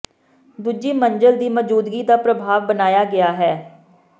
ਦੂਜੀ ਮੰਜ਼ਲ ਦੀ ਮੌਜੂਦਗੀ ਦਾ ਪ੍ਰਭਾਵ ਬਣਾਇਆ ਗਿਆ ਹੈ